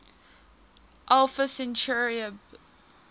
alpha centauri b